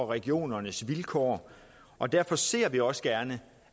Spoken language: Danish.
regionernes vilkår og derfor ser vi også gerne